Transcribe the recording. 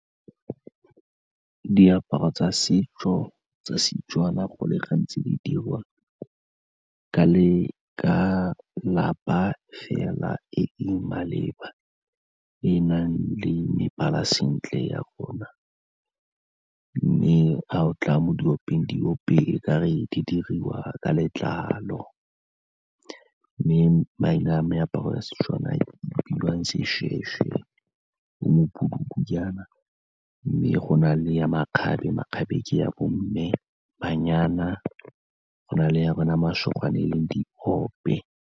Diaparo tsa setso tsa Setswana go le gantsi di dirwa ka lapa fela e e maleba e e nang le mebala sentle ya rona mme a o tla mo diopeng, diope e ka re di dirwa ka letlalo mme maina a meaparo ya Setswana a bidiwang seshweshwe e mme go na le ya makgabe, makgabe ke ya bo mme le banyana go na le ya bona masogana e leng diope.